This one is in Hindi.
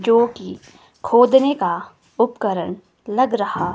जो कि खोदने का उपकरण लग रहा--